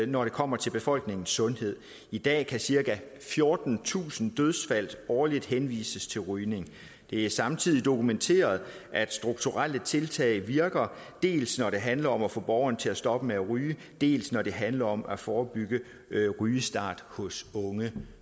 når det kommer til befolkningens sundhed i dag kan cirka fjortentusind dødsfald årligt henvises til rygning det er samtidig dokumenteret at strukturelle tiltag virker dels når det handler om at få borgere til at stoppe med at ryge dels når det handler om at forebygge rygestart hos unge